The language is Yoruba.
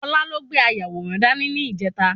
Fola ló gbé ayàwòrán dá ní, ni ìjẹta